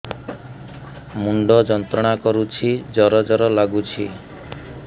ମୁଣ୍ଡ ଯନ୍ତ୍ରଣା କରୁଛି ଜର ଜର ଲାଗୁଛି